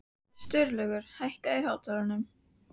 Sturlaugur, lækkaðu í hátalaranum.